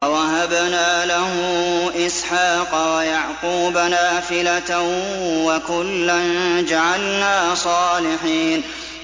وَوَهَبْنَا لَهُ إِسْحَاقَ وَيَعْقُوبَ نَافِلَةً ۖ وَكُلًّا جَعَلْنَا صَالِحِينَ